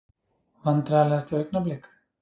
Vandræðalegasta augnablik?